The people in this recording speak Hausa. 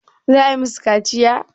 za a yi musu kaciya?